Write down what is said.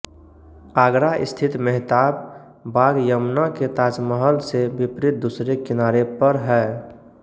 आगरा स्थित मेहताब बाग यमुना के ताजमहल से विपरीत दूसरे किनारे पर है